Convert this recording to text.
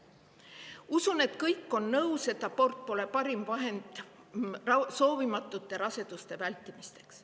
Usun, et kõik on nõus sellega, et abort pole parim vahend soovimatute raseduste vältimiseks.